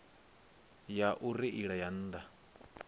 ya u reila ya nnḓa